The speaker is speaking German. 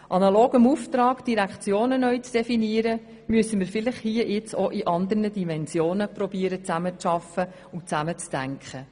Analog dem Auftrag, die Direktionen neu zu definieren, müssen wir vielleicht hier nun auch in anderen Dimensionen versuchen, zusammenzuarbeiten und zusammen zu denken.